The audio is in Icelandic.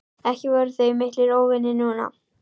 Ekki voru þau miklir óvinir núna.